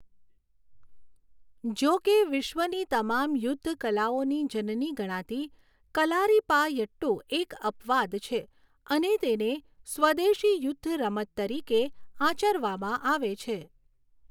જોકે 'વિશ્વની તમામ યુદ્ધ કલાઓની જનની' ગણાતી કલારીપાયટ્ટુ એક અપવાદ છે અને તેને સ્વદેશી યુદ્ધ રમત તરીકે આચરવામાં આવે છે.